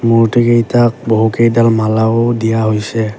মূৰ্ত্তি কেইটাক বহুকেইডাল মালাও দিয়া হৈছে।